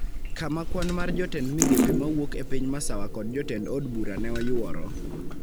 kama kwan mar jotend migepe ma wuok e piny masawa kod jotend od bura ne oyuoro,